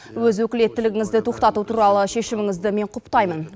өз өкілеттігіңізді тоқтату туралы шешіміңізді мен құптаймын